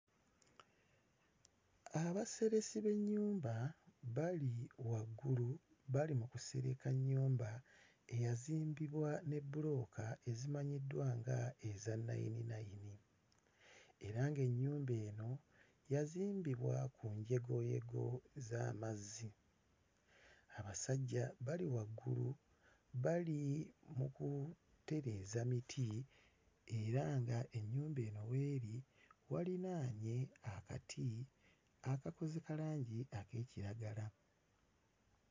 Abaseresi b'ennyumba bali waggulu bali mu kusereka nnyumba eyazimbibwa ne bbulooka ezimanyiddwa nga eza nnayininnayini era ng'ennyumba eno yazimbibwa ku njegoyego z'amazzi. Abasajja bali waggulu, bali mu kutereeza miti era ng'ennyumba eno w'eri walinaanye akati akakoze kalangi ak'ekiragala.